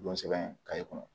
Don sɛbɛn kɔnɔ